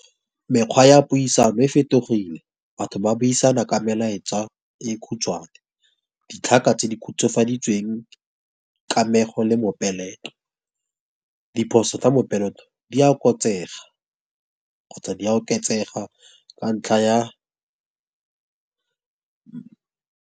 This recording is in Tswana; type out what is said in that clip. Mekgwa ya puisano e fetogile, batho ba buisana ka melaetsa e khutshwane. Ditlhaka tse di khutswafaditsweng, kamego, le mopeleto. Diphoso tsa mopeleto di a , kgotsa di a oketsega ka ntlha ya.